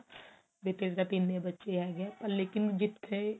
ਵੀ ਤੇਰੇ ਤਾਂ ਤਿੰਨ ਹੀ ਬੱਚੇ ਹੈਗੇ ਆ ਲੇਕਿਨ ਜਿੱਥੇ